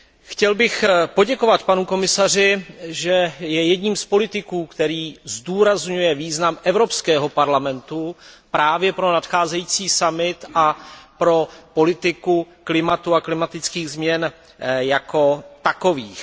Chtěl bych poděkovat panu komisaři, že je jedním z politiků, který zdůrazňuje význam Evropského parlamentu právě pro nadcházející summit a pro politiku klimatu a klimatických změn jako takových.